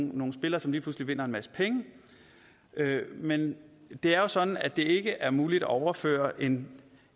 nogle spillere som lige pludselig vinder en masse penge men det er jo sådan at det ikke er muligt at overføre en